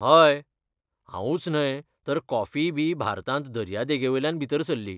हय, हांवूच न्हय तर कॉफीय बी भारतांत दर्या देगेवयल्यान भितर सरली.